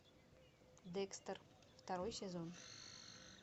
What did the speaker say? декстер второй сезон